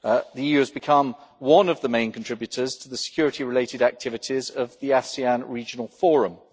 The EU has become one of the main contributors to the security related activities of the ASEAN Regional Forum.